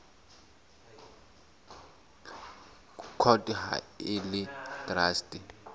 court ha e le traste